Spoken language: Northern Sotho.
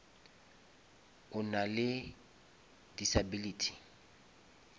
o nale disability